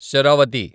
Sharavathi